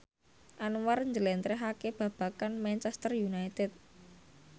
Anwar njlentrehake babagan Manchester united